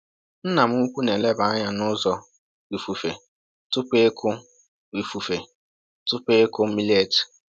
Nna m ukwu na‑eleba anya n’ụzọ ifufe tupu ịkụ ifufe tupu ịkụ millet.